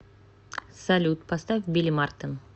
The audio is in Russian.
салют поставь билли мартен